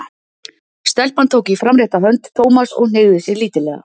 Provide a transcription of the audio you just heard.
Stelpan tók í framrétta hönd Thomas og hneigði sig lítillega.